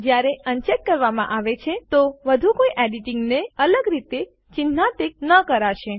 જયારે અનચેક કરવામાં આવે છે તો વધુ કોઇ એડીટીંગ ને અલગ રીતે ચીન્હાન્કિત ન કરાશે